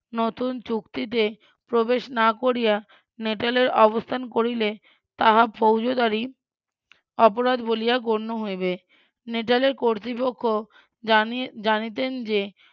নতুন চুক্তিতে প্রবেশ না করিয়া নেটালে অবস্থা করিলে তাহা ফৌজদারি অপরাধ বলিয়া গন্য হইবে নেটালের কর্তৃপক্ষ ~ জানিতেন যে